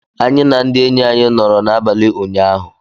Anyị na ndị enyi anyị nọrọ n'abalị ụnyaahụ.